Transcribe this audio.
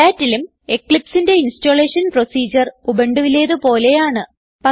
Redhatലും Eclipseന്റെ installation procedure ഉബുണ്ടുവിലേത് പോലെയാണ്